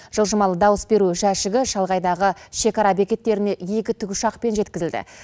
жылжымалы дауыс беру жәшігі шалғайдағы шекара бекеттеріне екі тікұшақпен жеткізілді